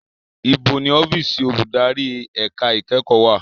Ibo ni ọ́fíìsì olùdarí ẹ̀ka ìkẹ́kọ̀ọ́ wà?